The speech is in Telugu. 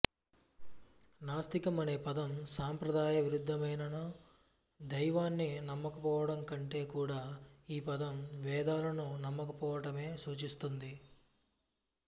నాస్తికం అనే పదం సాంప్రదాయ విరుద్ధమైనను దైవాన్ని నమ్మకపోవటంకంటే కూడా ఈ పదం వేదాలను నమ్మకపోవటమే సూచిస్తుంది